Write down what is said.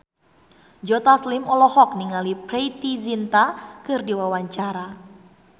Joe Taslim olohok ningali Preity Zinta keur diwawancara